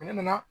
Ne nana